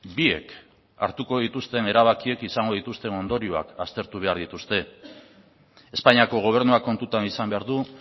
biek hartuko dituzten erabakiak izango dituzten ondorioak aztertu behar dituzte espainiako gobernuak kontutan izan behar du